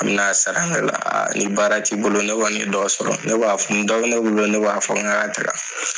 A bɛna a sara ne la a ni baara ti bolo ne kɔni ye dɔ sɔrɔ ni dɔ bɛn ne bolo ne b'a fɔ nga ka taga .